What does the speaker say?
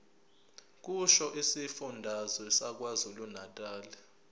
kusho isifundazwe sakwazulunatali